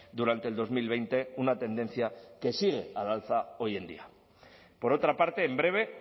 durante el dos mil veinte una tendencia que sigue al alza hoy en día por otra parte en breve